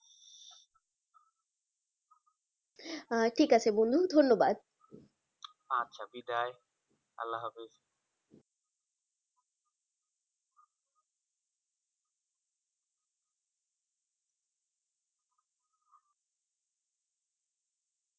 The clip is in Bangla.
আহ ঠিক আছে বন্ধু ধন্যবাদ আচ্ছা বিদায়